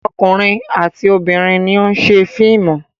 Ọkùnrin àti obìnrin ni ó ń ṣe fíìmù.